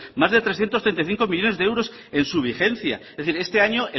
más de trescientos treinta y cinco millónes de euros en su vigencia es decir este año